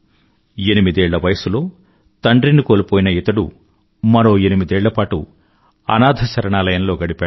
ఎనిమిదేళ్ల వయసులో తండ్రిని కోల్పోయిన ఇతడు మరో ఎనిమిదేళ్ల పాటు అనాథశరణాలయంలో గడిపాడు